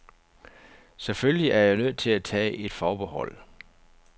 Selvfølgelig er jeg nødt til at tage et forbehold.